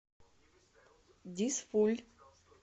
дизфуль